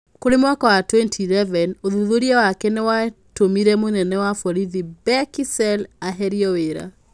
Kũrĩ mwaka wa 2011, ũthuthuria wake nĩ watũmire mũnene wa borithi Bheki Cele eherio wĩra.